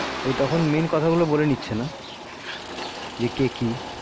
ওই তখন main কথা গুলো বলে নিচ্ছেন যে কে কি